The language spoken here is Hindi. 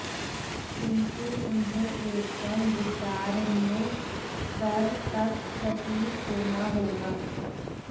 किंतु उन्हे एकदम विचारणीय स्तर तक सटीक होना होगा